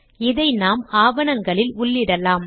இதை நாம் ஆவணங்களில் உள்ளிடலாம்